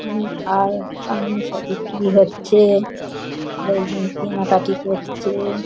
অনেক আর বিক্রি হচ্ছে-এ লোকজন কেনাকাটি করছে-এ।